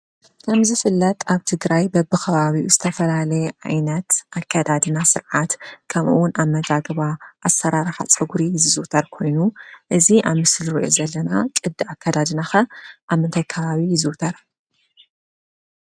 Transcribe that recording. ከም ዝፍለጥ ኣብ ትግራይ በብኸባቢኡ ዝተፈላለየ ዓይነት ኣከዳድና፣ ስርዓት፣ ከምኡውን ኣመጋግባ፣ ኣሰራርሓ ፀጉሪ ዝዝውተር ኮይኑ እዚ ኣብ ምስሊ ንሪኦ ዘለና ቅዲ ኣከዳድና ኸ ኣብ ምንታይ ከባቢ ይዝውተር?